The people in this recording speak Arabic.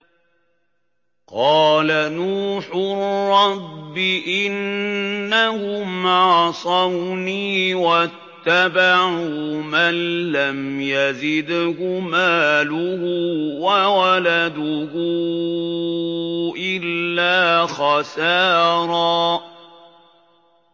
قَالَ نُوحٌ رَّبِّ إِنَّهُمْ عَصَوْنِي وَاتَّبَعُوا مَن لَّمْ يَزِدْهُ مَالُهُ وَوَلَدُهُ إِلَّا خَسَارًا